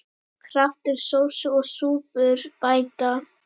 Kraftur sósu og súpur bæta.